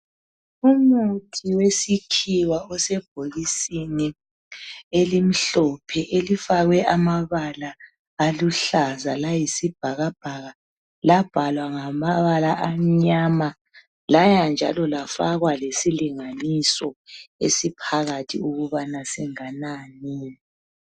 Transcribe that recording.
umuthi wesikhiwa osebhokisini elimhlophe elifakwe amabala aluhlaza layisibhakabhaka labhalwa ngamabala amnyama laya njalo lafakwa lesilinganiso esiphakathi ukubana singanani